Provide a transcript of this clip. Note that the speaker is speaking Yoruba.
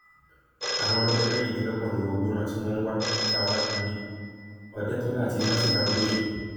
àwọn ọlọdẹ mẹrìndínlọgbọn ló wọgbó náà tí wọn ń wá dókítà ọládúnni òdetọlá àti nọọsì bámgbóṣe